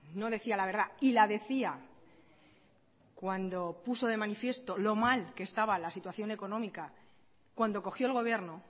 no decía la verdad y la decía cuando puso de manifiesto lo mal que estaba la situación económica cuando cogió el gobierno